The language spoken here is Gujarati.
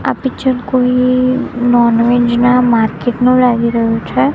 આ પિક્ચર કોઇ નોન વેજ ના માર્કેટ નું લાગી રહ્યુ છે.